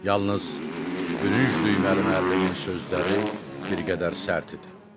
Yalnız bürünc düyməli müəllimin sözləri bir qədər sərt idi.